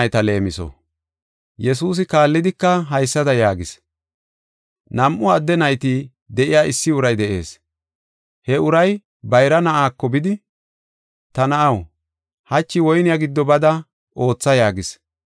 “Yesuusi kaallidika haysada yaagis: nam7u adde nayti de7iya issi uray de7ees. He uray bayra na7aako bidi, ‘Ta na7aw, hachi woyne giddo bada ootha’ yaagis.